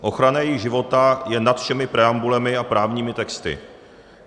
Ochrana jejich života je nad všemi preambulemi a právními texty.